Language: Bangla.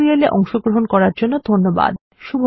এই টিউটোরিয়াল এ অংশগ্রহন করার জন্য ধন্যবাদ